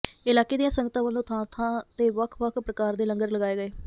ਇਲਾਕੇ ਦੀਆਂ ਸੰਗਤਾਂ ਵੱਲੋਂ ਥਾਂ ਥਾਂ ਤੇ ਵੱਖ ਵੱਖ ਪ੍ਰਕਾਰ ਦੇ ਲੰਗਰ ਲਗਾਏ ਗਏ